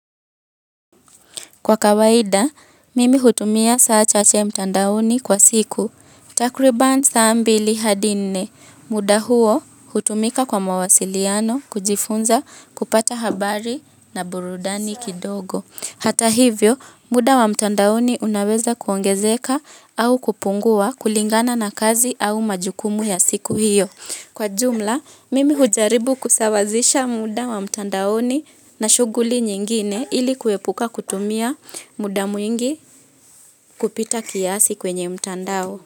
Kwa kawaida, mimi hutumia saa chache mtandaoni kwa siku. Takriban saa ambili hadi nne. Muda huo hutumika kwa mawasiliano, kujifunza, kupata habari na burudani kidogo. Hata hivyo, muda wa mtandaoni unaweza kuongezeka au kupungua kulingana na kazi au majukumu ya siku hiyo. Kwa jumla, mimi hujaribu kusawazisha muda wa mtandaoni na shughuli nyingine ili kuepuka kutumia muda mwingi kupita kiasi kwenye mtandao.